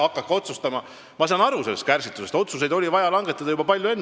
Aga ma saan aru sellest kärsitusest – otsuseid oli vaja langetada juba palju varem.